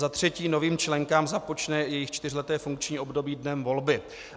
Za třetí: Novým členkám započne jejich čtyřleté funkční období dnem volby."